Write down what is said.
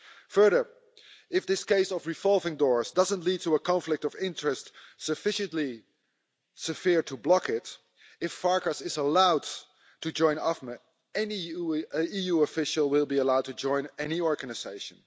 Furthermore, if this case of revolving doors doesn't lead to a conflict of interest sufficiently severe to block it, if Farkas is allowed to join AFME, any EU official will be allowed to join any organisation.